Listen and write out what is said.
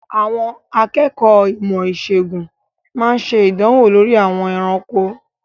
Àwọn akẹ́kọ̀ọ́ ìmọ̀-ìṣègùn máa ń ṣe ìdánwò lórí àwọn ẹranko.